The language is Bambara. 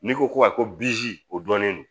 N'i ko ko ayi ko o dɔnnen don